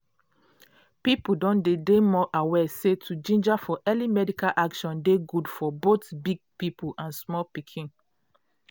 people don dey dey more aware say to ginger for early medical action dey good for both big people and small pikin.